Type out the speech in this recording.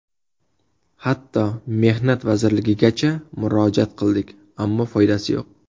Hatto Mehnat vazirligigacha murojaat qildik, ammo foydasi yo‘q.